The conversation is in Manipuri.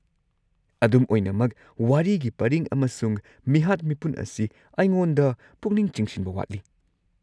ꯑꯗꯨꯝ ꯑꯣꯏꯅꯃꯛ, ꯋꯥꯔꯤꯒꯤ ꯄꯔꯤꯡ ꯑꯃꯁꯨꯡ ꯃꯤꯍꯥꯠ-ꯃꯤꯄꯨꯟ ꯑꯁꯤ ꯑꯩꯉꯣꯟꯗ ꯄꯨꯛꯅꯤꯡ ꯆꯤꯡꯁꯤꯟꯕ ꯋꯥꯠꯂꯤ꯫